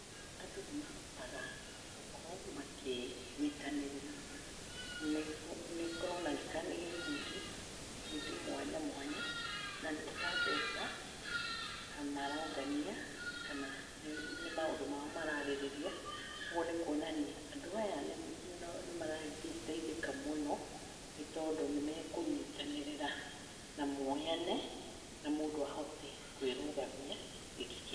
Andũ nĩ mahotaga gũkorwo makĩ nyitanĩrĩra. Nĩ kũroneka nĩ gikundi ikundi mwanyamwanya. Nanĩ ta mbeca marongania kana nĩ maũndũ mao mararĩrĩa. Ũgũo nĩ kuonania andũ aya nĩ maragĩteithĩka mũno nĩ tondũ nĩmekũnyitananĩrĩra na moyane na mũndũ ahote kũĩrũgamia.